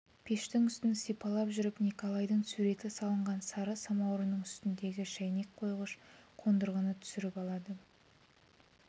пештің үстін сипалап жүріп николайдың суреті салынған сары самаурынның үстіндегі шәйнек қойғыш қондырғыны түсіріп алды